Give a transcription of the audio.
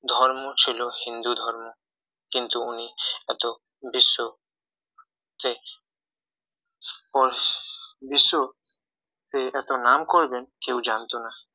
ধর্ম ছিল হিন্দু ধর্ম কিন্তু উনি এত বিশ্ব তে পুরো বিশ্ব তে এত নাম করবে যে কেউ জানতো না